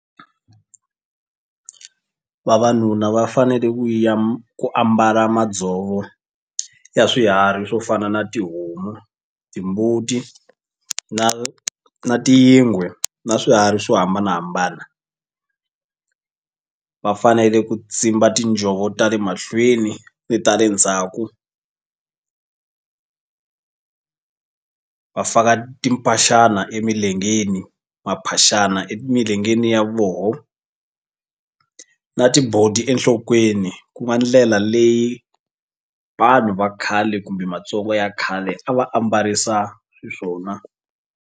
Vavanuna va fanele ku ya ku ambala madzovo ya swiharhi swo fana na tihomu timbuti na na tiyingwe na swiharhi swo hambanahambana. Va fanele ku tsimba tinjhovo ta le mahlweni ni ta le ndzhaku va faka timphaxana emilengeni maphaxani emilengeni ya vona na tibodi enhlokweni ku nga ndlela leyi vanhu va khale kumbe Matsongo ya khale a va ambarisa xiswona.